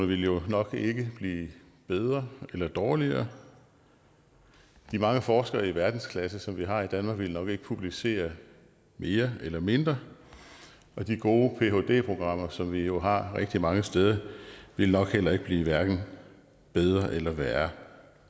ville jo nok ikke blive bedre eller dårligere de mange forskere i verdensklasse som vi har i danmark ville nok ikke publicere mere eller mindre og de gode phd programmer som vi jo har rigtig mange steder ville nok heller ikke blive hverken bedre eller værre